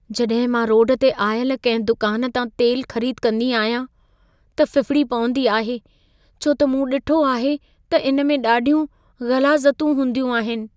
जॾहिं मां रोड ते आयल कंहिं दुकान तां तेल ख़रीद कंदी आहियां, त फ़िफ़िड़ी पवंदी आहे छो त मूं ॾिठो आहे त इन में ॾाढियूं ग़लाज़तूं हूंदियूं आहिनि।